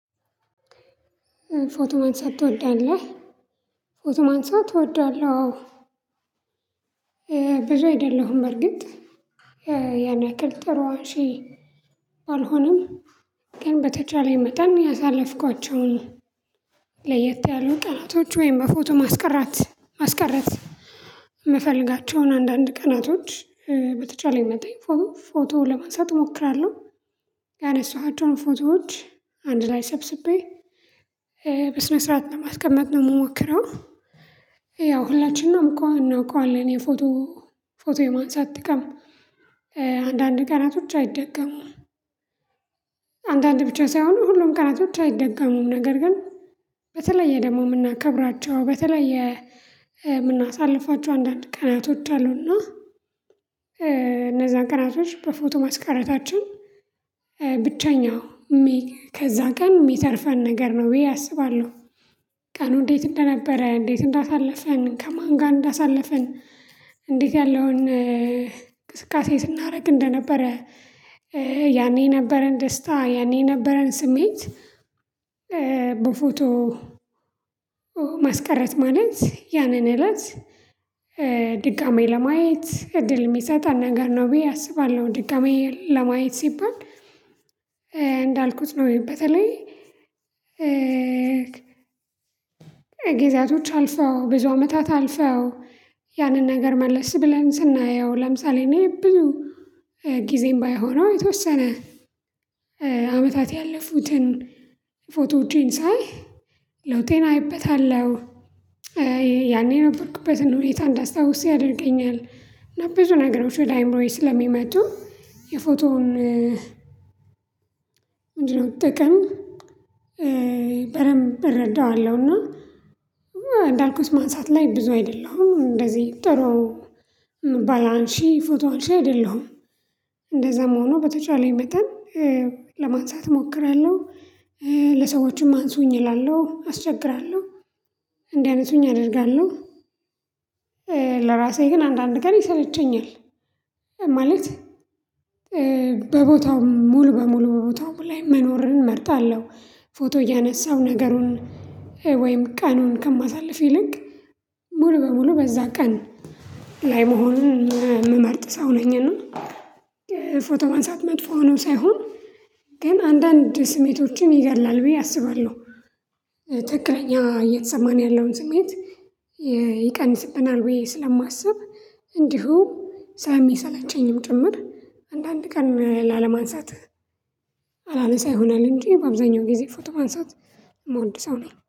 ፎቶ ማንሳት ትወዳለህ? ፎቶ ማንሳት እወዳለሁ አዎ ብዙ አይደለሁም በእርግጥ ያን ያክል ጥሩ አንሺ ባልሆንም ግን በተቻለኝ መጠን ያሳለፍኳቸውን ለየት ያሉ ቀናቶች ወይም በፎቶ ማስቀራት ማስቀረት የምፈልጋቸውን አንዳንድ ቀናቶች በተቻለኝ መጠን ፎቶ ለማንሳት እሞክራለሁ ያነሳኋቸውን ፎቶዎች አንድ ላይ ሰብስቤ በስነ ስርዓት ለማስቀመጥ ነው የምሞክረው ያው ሁላችንም እኮ እንውቀዋለን የፎቶ ፎቶ የማንሳት ጥቅም አንዳንድ ቀናቶች አይደገምም አንዳንድ ብቻ ሳይሆን ሁሉም ቀናቶች አይደጋሙም ነገር ግን በተለየ ደግሞ የምናከብራቸው በተለይ የምናሳልፋቸው አንዳንድ ቀናቶች አሉና እነዛን ቀናቶች በፎቶ ማስቀረታችን ብቸኛው ከዛ ቀን የሚተርፈን ነገር ነው ብዬ አስባለሁ ቀኑ እንዴት እንደነበረ እንዴት እንዳሳለፍን ከማን ጋር እንዳሳለፍን እንዴት ያለውን እንቅስቃሴ ስናደርግ እንደነበረ ያኔ ነበረን ደስታ ያኔ የነበረን ስሜት በፎቶ ማስቀረት ማለት ያንን እለት ድጋሚ ለማየት እድል የሚሰጠን ነገር ነው ብዬ አስባለሁ ድጋሚ ለማየት ሲባል እንዳልኩት ነው በተለይ ጊዜያቶች አልፈው ብዙ አመታት አልፈው ያንን ነገር መለስ ብለን ስናየው ለምሳሌ እኔ ብዙ ጊዜም ባይሆነው የተወሰነ አመታት ያለፉትን ፎቶዎቼን ሳይ ለውጤን አይበታለሁ ያኔ ነበርኩበትን ሁኔታ እንዳስታውስ ያደርገኛል ብዙ ነገሮች ወደ አእምሮዬ ስለሚመጡ የፎቶውን ምንድነው ጥቅም በደምብ እረዳዋለሁ እና እንዳልኩት ማንሳት ላይ ብዙ አይደለሁም እንደዚህ ጥሩ ባላንሺ ፎቶንሺ አይደለሁም እንደዛም ሆኖ በተቻለኝ መጠን ለማንሳት እሞክራለሁ ለሰዎችም አንሱኝ እላለሁ አስቸግራለሁ እንዲያነሱኝ አደርጋለሁ ለራሴ ግን አንዳንድ ቀን ይሰለቸኛል ማለት በቦታው ሙሉ በሙሉ በቦታው ላይ መኖርን እመርጣለሁ ፎቶ እያነሳሁ ነገሩን ወይም ቀኑን ከማሳልፍ ይልቅ ሙሉ በሙሉ በዛ ቀን ላይ መሆን የምመርጥ ሰው ነኝና ፎቶ ማንሳት መጥፎ ሆኖ ሳይሆን ግን አንዳንድ ስሜቶችን ይገላል ብዬ አስባለሁ ትክክለኛ እየተሰማን ያለውን ስሜት ይቀንስብናል ብዬ ስለማስብ እንዲሁ ስለሚሰለቸኝም ጭምር አንዳንድ ቀን ላለማንሳት አላነሳ ይሆናል እንጂ በአብዛኛው ጊዜ ፎቶ ማንሳት የምወድ ሰው ነኝ